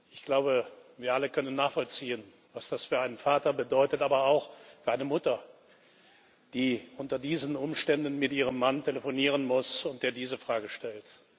Ich glaube, wir alle können nachvollziehen, was das für einen Vater bedeutet, aber auch für eine Mutter, die unter diesen Umständen mit ihrem Mann telefonieren muss, der diese Frage stellt.